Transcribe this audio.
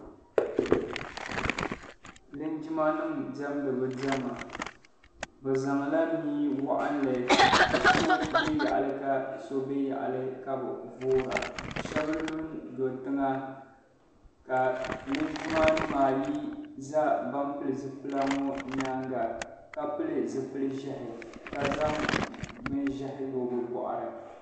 Linjima nim diɛmdi bi diɛma be zaŋla mii waɣinli ka so bɛ yaɣili ka so bɛ yaɣili ka bi voora shɛb lu n do tiŋa ka linjima nim ayi za ban pili zipila ŋɔ yɛanga ka pili zipili zehi ka zaŋ bin zehi lo bi bɔɣili.